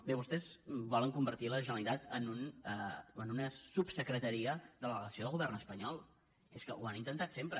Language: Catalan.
bé vostès volen convertir la generalitat en una subsecretaria de la delegació del govern espanyol és que ho han intentat sempre